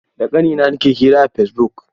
Da ƙanina nake hira a Fesibuk.